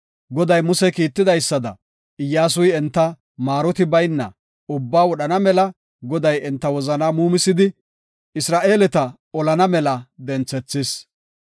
Goday Muse kiitidaysada, Iyyasuy enta maaroti baynna ubbaa wodhana mela Goday enta wozana muumisidi Isra7eeleta olana mela denthethis.